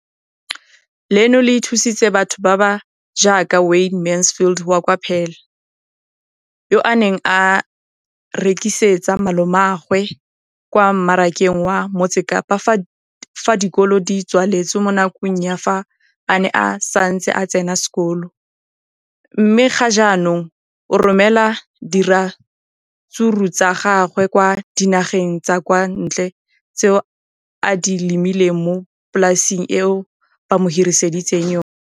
leno le thusitse batho ba ba jaaka Wayne Mansfield, 33, wa kwa Paarl, yo a neng a rekisetsa malomagwe kwa Marakeng wa Motsekapa fa dikolo di tswaletse, mo nakong ya fa a ne a santse a tsena sekolo, mme ga jaanong o romela diratsuru tsa gagwe kwa dinageng tsa kwa ntle tseo a di lemileng mo polaseng eo ba mo hiriseditseng yona.